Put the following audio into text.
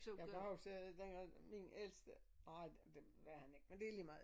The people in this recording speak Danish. Jeg var jo stadig dengang min ældste nej det var han ikke men det lige meget